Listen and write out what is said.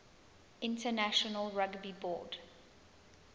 international rugby board